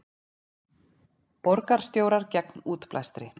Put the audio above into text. Borgarstjórar gegn útblæstri